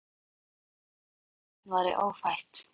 Þau höfðu ekki hugmynd um að annað barn væri ófætt.